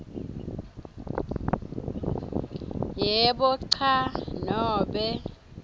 yebo cha nobe